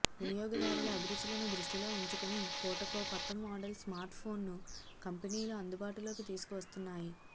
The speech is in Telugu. వినియోగదారుల అభిరుచులను దృష్టిలో ఉంచుకుని పూటకో కొత్త మోడల్ స్మార్ట్ఫోన్ను కంపెనీలు అందుబాటులోకి తీసుకువస్తున్నాయి